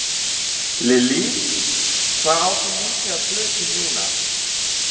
Lillý: Hvað áttu mikið af plötum núna?